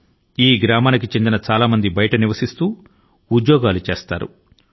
ఆ గ్రామస్థుల లో చాలా మంది వారి యొక్క జీవనోపాధి కై బయట వేర వేరు చోటుల లో ఉంటున్నారు